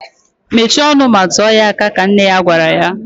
Mechie ọnụ ma tuo ya aha! ka nne ya gwara ya